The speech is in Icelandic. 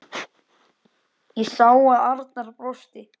Ég sá að Arnar brosti.